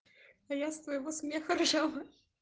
а я с твоего смеха ржала